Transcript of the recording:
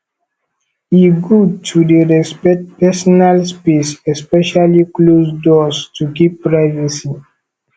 e good to dey respect personal space especially closed doors to keep privacy